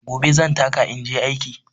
Gobe zan taka inje aiki.